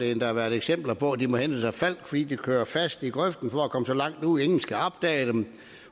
endda været eksempler på at de må hentes af falck fordi de kører fast i grøften for at komme så langt ud at ingen kan opdage dem